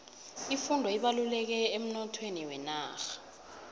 ifundo ibalulekile emnothweni wenarha